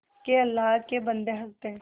के अल्लाह के बन्दे हंस दे